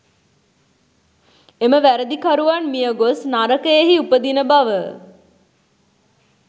එම වැරැදිකරුවන් මිය ගොස් නරකයෙහි උපදින බව